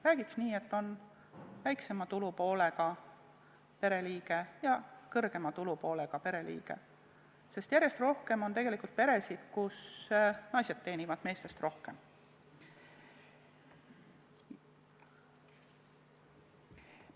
Räägiks nii, et on väiksema tulupoolega pereliige ja suurema tulupoolega pereliige, sest järjest rohkem on peresid, kus naised teenivad meestest rohkem.